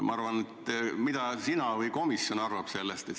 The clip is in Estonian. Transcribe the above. Mida arvad sina või arvab komisjon sellest?